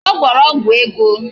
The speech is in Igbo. Ọ gwọrọ ọgwụ ego